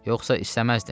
Yoxsa istəməzdim.